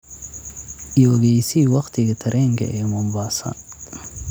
i ogeysii waqtiga tareenka ee mombasa